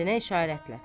Kəndinə işarətlə.